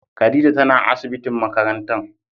Khadijah tana asibitin makarantan.